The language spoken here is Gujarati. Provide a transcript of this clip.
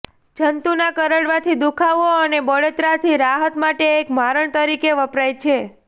જંતુના કરડવાથી દુઃખાવાનો અને બળતરાથી રાહત માટે એક મારણ તરીકે વપરાય છે